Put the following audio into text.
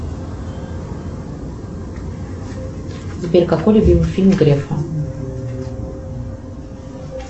сбер какой любимый фильм грефа